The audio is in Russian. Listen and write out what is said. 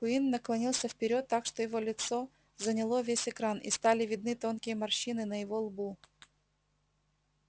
куинн наклонился вперёд так что его лицо заняло весь экран и стали видны тонкие морщины на его лбу